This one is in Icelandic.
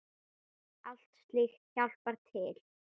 Allt slíkt hjálpar til.